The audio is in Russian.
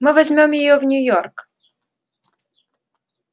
мы возьмём её в нью-йорк